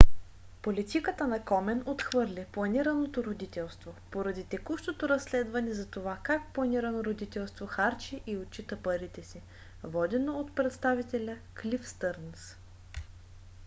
политиката на комен отхвърли планираното родителство поради текущото разследване за това как планирано родителство харчи и отчита парите си водено от представителя клиф стърнс